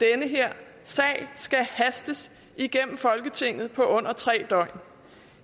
her sag skal hastes igennem folketinget på under tre døgn